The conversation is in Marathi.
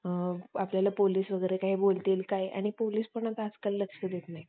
त्याला पोलीस वगैरे काय बोलतील किंवा काय पोलीस पण आता आजकाल लक्ष देत नाही